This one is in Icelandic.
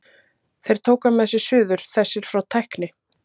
Þeir tóku hann með sér suður, þessir frá tækni